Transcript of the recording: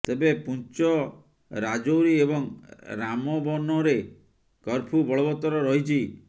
ତେବେ ପୁଞ୍ଚ ରାଜୌରି ଏବଂ ରାମବନରେ କର୍ଫ୍ୟୁ ବଳବତ୍ତର ରହିଛି